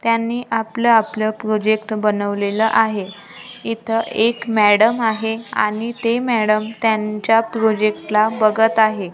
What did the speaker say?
त्यांनी आपल्या आपल्या प्रोजेक्ट बनवलेला आहे इथं एक मॅडम आहे आणि ते मॅडम त्यांच्या प्रोजेक्टला बघत आहे.